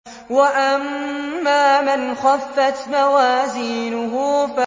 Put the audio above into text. وَأَمَّا مَنْ خَفَّتْ مَوَازِينُهُ